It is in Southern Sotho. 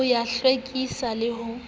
ho ya hlwekisa le ha